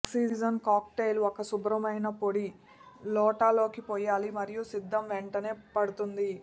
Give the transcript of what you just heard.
oxygen cocktail ఒక శుభ్రమైన పొడి లోటా లోకి పోయాలి మరియు సిద్ధం వెంటనే పడుతుంది